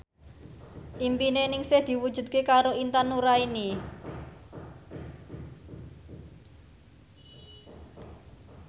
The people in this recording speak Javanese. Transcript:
impine Ningsih diwujudke karo Intan Nuraini